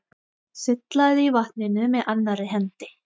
Sullaði í vatninu með annarri hendi.